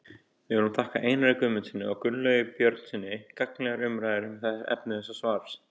Við viljum þakka Einari Guðmundssyni og Gunnlaugi Björnssyni gagnlegar umræður um efni þessa svars.